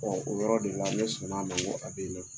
Ɔ o yɔrɔ de la ne sɔnna man ko a bɛ ne fɛ